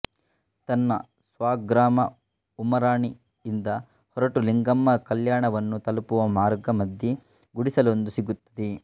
ತನ್ನ ಸ್ವಗ್ರಾಮ ಉಮರಾಣಿ ಇಂದ ಹೊರಟು ಲಿಂಗಮ್ಮ ಕಲ್ಯಾಣವನ್ನು ತಲುಪುವ ಮಾರ್ಗ ಮಧ್ಯೆ ಗುಡಿಸಲೊಂದು ಸಿಗುತ್ತದೆ